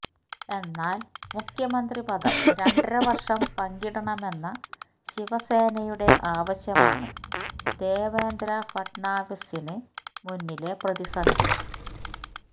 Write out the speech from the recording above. എന്നാൽ മുഖ്യമന്ത്രിപദം രണ്ടരവർഷം പങ്കിടണമെന്ന ശിവസേനയുടെ ആവശ്യമാണ് ദേവേന്ദ്ര ഫട്നാവിസിന് മുന്നിലെ പ്രതിസന്ധി